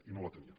i no la tenien